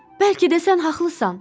Bəlkə də sən haqlısan.